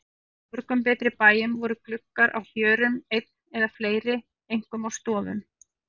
Á mörgum betri bæjum voru gluggar á hjörum einn eða fleiri, einkum á stofum.